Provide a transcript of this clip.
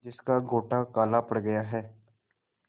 जिसका गोटा काला पड़ गया है